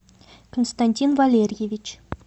константин валерьевич